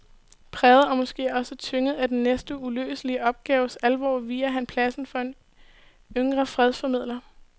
Præget og måske også tynget af den næsten uløselige opgaves alvor viger han pladsen for en yngre fredsformidler.